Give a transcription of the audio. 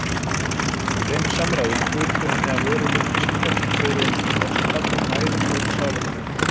Í þeim samræðum hrutu henni af vörum upplýsingar sem fóru einsog frostkaldur næðingur um sálartetrið.